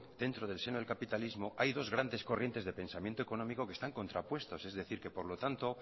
dentro del seno del capitalismo hay dos grandes corrientes de pensamiento económico que están contrapuestos es decir que por lo tanto